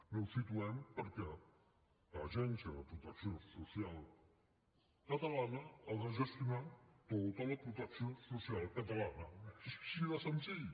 no ho situem perquè l’agència de protecció social catalana ha de gestionar tota la protecció social catalana és així de senzill